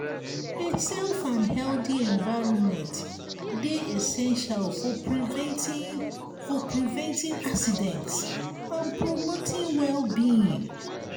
a safe and healthy envirnment dey essential for preventing for preventing accidents and promoting well-being.